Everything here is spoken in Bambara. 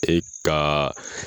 E be taa